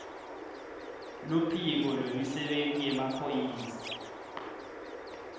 luphiko lwemisebenti yemaphoyisa